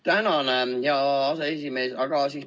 Tänan, hea aseesimees!